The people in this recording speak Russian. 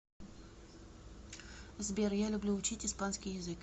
сбер я люблю учить испанский язык